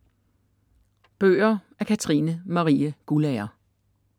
Bøger af Katrine Marie Guldager